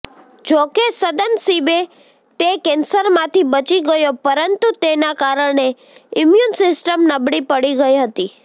જોકે સદનસીબે તે કેન્સરમાંથી બચી ગયો પરંતુ તેના કારણે ઈમ્યુન સિસ્ટમ નબળી પડી ગઈ હતી